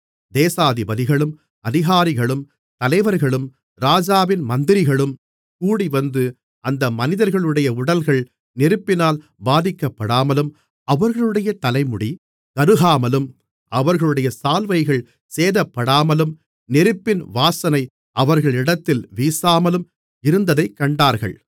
தேசாதிபதிகளும் அதிகாரிகளும் தலைவர்களும் ராஜாவின் மந்திரிகளும் கூடிவந்து அந்த மனிதர்களுடைய உடல்கள் நெருப்பினால் பாதிக்கப்படாமலும் அவர்களுடைய தலைமுடி கருகாமலும் அவர்களுடைய சால்வைகள் சேதப்படாமலும் நெருப்பின் வாசனை அவர்களிடத்தில் வீசாமலும் இருந்ததைக் கண்டார்கள்